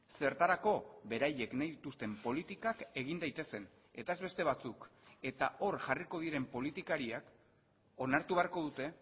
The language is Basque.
zertarako beraiek nahi dituzten politikak egin daitezen eta ez beste batzuk eta hor jarriko diren politikariak onartu beharko dute